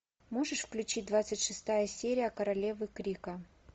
можешь включить двадцать шестая серия королевы крика